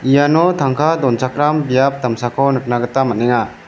iano tangka donchakram biap damsako nikna gita man·enga.